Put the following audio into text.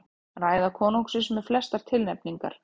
Ræða konungsins með flestar tilnefningar